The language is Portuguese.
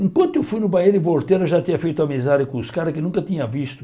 Enquanto eu fui no banheiro e voltei, ela já tinha feito amizade com uns caras que nunca tinha visto.